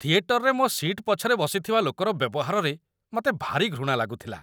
ଥିଏଟରରେ ମୋ' ସି'ଟ୍ ପଛରେ ବସିଥିବା ଲୋକର ବ୍ୟବହାରରେ ମତେ ଭାରି ଘୃଣା ଲାଗୁଥିଲା ।